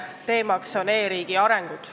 Teemaks on e-riigi arengud.